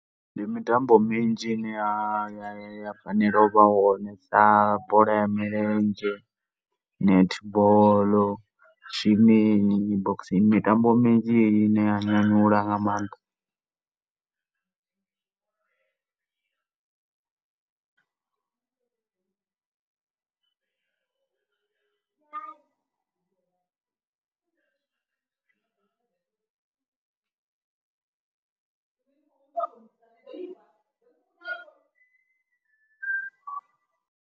Ndi mitambo minzhi ine ya fanela u vha hone na bola ya milenzhe, netball, swimming, boxing, mitambo minzhi heneyi ine ya nyanyula nga maanḓa .